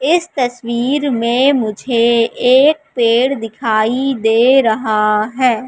इस तस्वीर में मुझे एक पेड़ दिखाई दे रहा हैं।